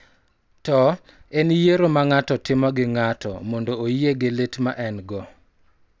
To, en yiero ma ng�ato timo gi ng�ato mondo oyie gi lit ma en-go .